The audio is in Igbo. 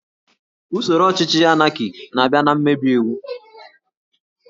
Usoro ọchịchị Anaki na-abịa na mmebi iwu